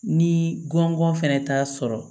Ni gɔngɔn fɛnɛ t'a sɔrɔ